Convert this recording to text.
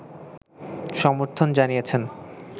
সমর্থন জানিয়েছেন